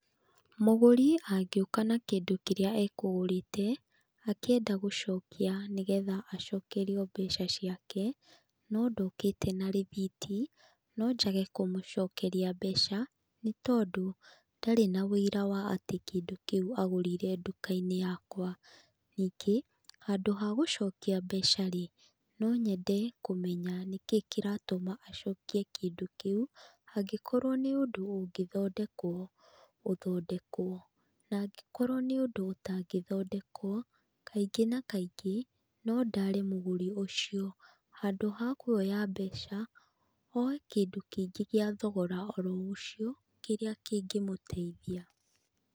Mũgũri angĩũka na kĩndũ kĩrĩa ekũgũrĩte akĩenda gũcokia nĩgetha acokerio mbeca ciake, no ndokĩte na rĩthiti no njage kũmũcokeria mbeca, nĩ tondũ ndarĩ na ũira wa atĩ kĩndũ kĩu agũrire nduka-inĩ yakwa. Ningĩ handũ ha gũcokia mbeca-rĩ, no nyende kũmenya nĩkĩ kĩratũma acokie kĩndũ kĩu, angĩkorwo nĩ ũndũ ũngĩthondekwo, ũthondekwo, na angikorwo nĩ ũndũ ũtangĩthondekwo, kaingĩ na kaingĩ no ndaare mũgũri ũcio handũ ha kuoya mbeca oe kĩndũ kĩngĩ gĩa thogora oro ũcio kĩrĩa kĩngĩmũteithia.